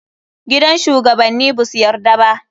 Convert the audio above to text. Gidan shugabanni basu yarda ba.